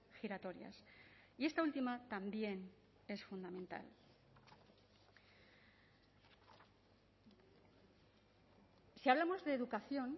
giratorias y esta última también es fundamental si hablamos de educación